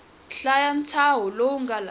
hlaya ntshaho lowu nga laha